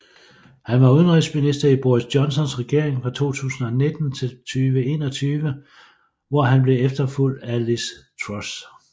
Han var udenrigsminister i Boris Johnsons regering fra 2019 til 2021 hvor han blev efterfulgt af Liz Truss